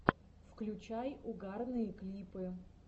включай угарные клипы